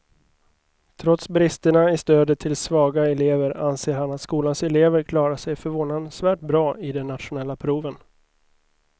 Trots bristerna i stödet till svaga elever anser han att skolans elever klarar sig förvånansvärt bra i de nationella proven.